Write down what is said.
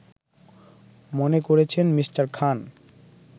মনে করছেন মি. খান